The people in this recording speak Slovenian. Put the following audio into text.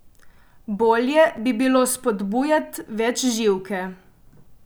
Bolje bi bilo spodbujat večživke.